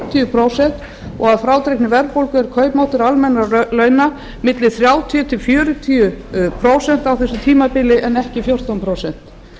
fimmtíu prósent og að frádreginni verðbólgu er kaupmáttur almennra launa milli þrjátíu til fjörutíu prósent á þessu tímabili en ekki fjórtán prósent